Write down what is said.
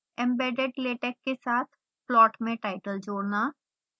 embedded latex के साथ plot में टाइटल जोड़ना